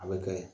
A bɛ kɛ ye